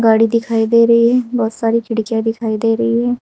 गाड़ी दिखाई दे रही है बहोत सारी खिड़कियां दिखाई दे रही है।